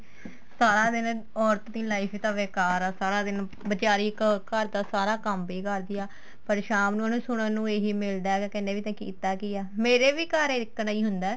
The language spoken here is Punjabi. ਸਾਰਾ ਦਿਨ ਔਰਤ ਦੀ life ਤਾਂ ਬੇਕਾਰ ਆ ਸਾਰਾ ਦਿਨ ਬੀਚਾਰੀ ਇੱਕ ਘਰ ਦਾ ਸਾਰਾ ਕੰਮ ਵੀ ਕਰਦੀ ਆ ਪਰ ਸ਼ਾਮ ਨੂੰ ਉਹਨੂੰ ਸੁਣਨ ਨੂੰ ਇਹੀ ਮਿਲਦਾ ਵੀ ਕਹਿਨੇ ਵੀ ਤਾਂ ਕੀਤਾ ਕੀ ਏ ਮੇਰੇ ਵੀ ਘਰ ਇਸ ਤਰ੍ਹਾਂ ਈ ਹੁੰਦਾ